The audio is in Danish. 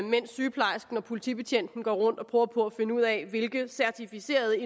mens sygeplejersken og politibetjenten går rundt og prøver på at finde ud af hvilket certificeret